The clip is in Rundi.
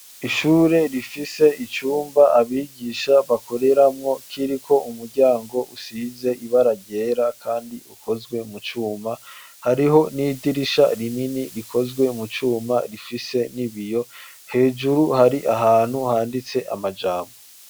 Ishure rifise icumba abigisha bakoreramwo kiriko umuryango usize ibara ryera kandi ukozwe mu cuma hariho n'idirisha rinini rikozwe mu cuma rifise n'ibiyo hejuru hari ahantu handitse amajambo.